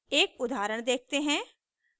एक उदाहरण देखते हैं